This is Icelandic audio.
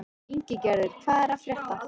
Ingigerður, hvað er að frétta?